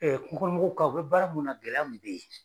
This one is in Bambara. Ɛɛ kungokɔnɔmɔgɔw ka u be baara mun na gɛlɛya mun be yen